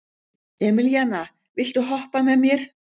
Emelíana, viltu hoppa með mér?